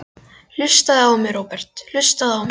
Hlustaðu á mig, Róbert, hlustaðu á mig.